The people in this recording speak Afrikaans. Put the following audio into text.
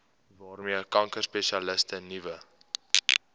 waarmee kankerspesialiste nuwe